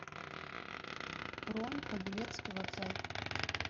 бронь павелецкий вокзал